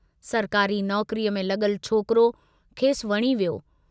सरकारी नौकरीअ में लगुलु छोकिरो, खेसि वणी वियो।